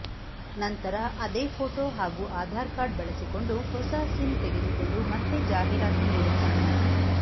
ನಂತರ ಅದೇ ಪೋಟೋ ಹಾಗೂ ಆಧಾರ್ ಕಾರ್ಡ್ ಬಳಸಿಕೊಂಡು ಹೊಸ ಸಿಮ್ ತೆಗೆದುಕೊಂಡು ಮತ್ತೆ ಜಾಹೀರಾತು ನೀಡುತ್ತಾನೆ